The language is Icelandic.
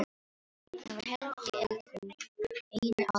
Hann var helmingi eldri og einu ári betur.